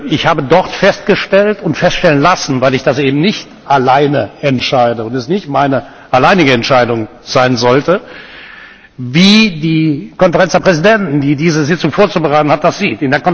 Ich habe dort festgestellt und feststellen lassen weil ich das eben nicht alleine entscheide und es nicht meine alleinige Entscheidung sein sollte wie die Konferenz der Präsidenten, die diese Sitzung vorzubereiten hat, das sieht.